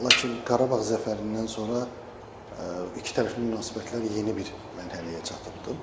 Lakin Qarabağ zəfərindən sonra ikitərəfli münasibətlər yeni bir mərhələyə çatıbdır.